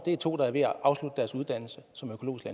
er to der er ved at afslutte deres uddannelse som økologiske